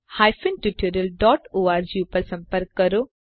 અમને જોડાવાબદ્દલ આભાર